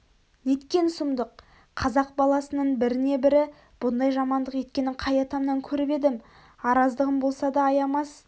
неткен сұмдық қазақ баласының біріне-бірі бұндай жамандық еткенін қай атамнан көріп едім араздығым болса да аямас